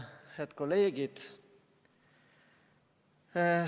Head kolleegid!